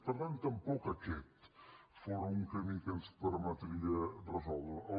per tant tampoc aquest fóra un camí que ens permetria resoldre ho